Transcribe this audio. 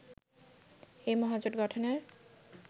এই মহাজোট গঠনের